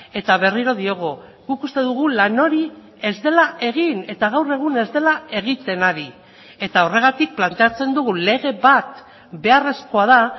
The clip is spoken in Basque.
eta berriro diogu guk uste dugu lan hori ez dela egin eta gaur egun ez dela egiten ari eta horregatik planteatzen dugu lege bat beharrezkoa da